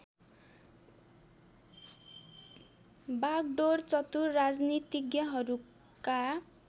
बागडोर चतुर राजनीतिज्ञहरूका